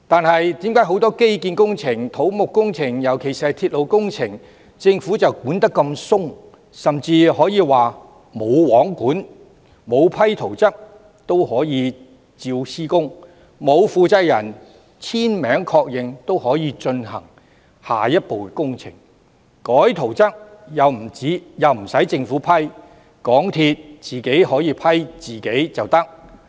可是，為何對於基建工程、土木工程，尤其是鐵路工程，政府的監管卻那麼寬鬆，甚至可以說是"無皇管"，沒有批准圖則也可以施工、沒有負責人簽名確認也可以進行下一步工程，甚至更改圖則亦無須政府批准，可以由港鐵公司自行批核呢？